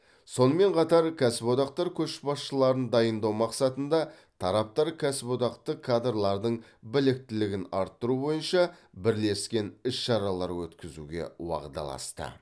сонымен қатар кәсіподақтар көшбасшыларын дайындау мақсатында тараптар кәсіподақтық кадрлардың біліктілігін арттыру бойынша бірлескен іс шаралар өткізуге уағдаласты